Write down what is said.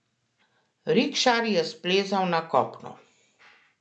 Rikšar je splezal na kopno.